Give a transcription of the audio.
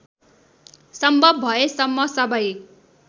सम्भव भएसम्म सबै